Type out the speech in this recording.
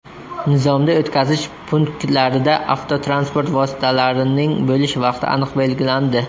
Nizomda o‘tkazish punktlarida avtotransport vositalarining bo‘lish vaqti aniq belgilandi.